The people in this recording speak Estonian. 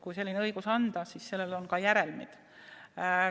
Kui selline õigus anda, siis sellel on järelmid.